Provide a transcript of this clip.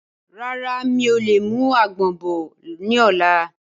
Rárá, mi ò lè mú àgbọ̀n bọ̀ ni ọ̀la.